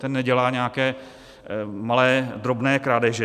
Ten nedělá nějaké malé, drobné krádeže.